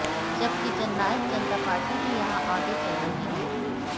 जबकि जननायक जनता पार्टी भी यहां आगे चल रही है